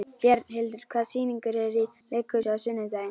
Bjarnhildur, hvaða sýningar eru í leikhúsinu á sunnudaginn?